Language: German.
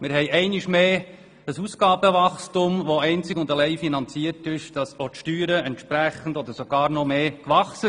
Wir haben einmal mehr ein Ausgabenwachstum, welches einzig und allein durch ein Wachstum der Steuereinnahmen finanziert wird.